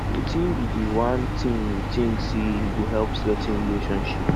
wetin be di one thing you think say e go help strengthen relationships